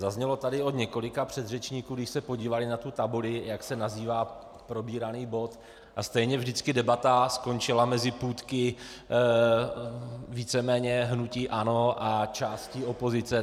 Zaznělo tady od několika předřečníků, když se podívali na tu tabuli, jak se nazývá probíraný bod, a stejně vždycky debata skončila mezi půtky víceméně hnutí ANO a částí opozice.